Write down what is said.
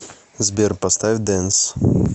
сбер поставь дэнс